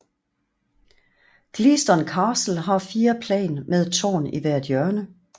Gleaston Castle har fire plan med et tårn i hvert hjørne